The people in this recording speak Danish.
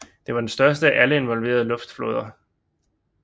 Den var den største af alle involverede luftflåder